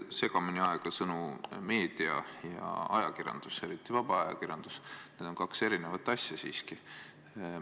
Te ärge ajage segamini sõnu "meedia" ja "ajakirjandus", need on siiski kaks erinevat asja, eriti vaba ajakirjandus.